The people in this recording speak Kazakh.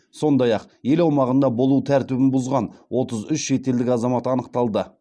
сондай ақ ел аумағында болу тәртібін бұзған отыз үш шетелдік азамат анықталды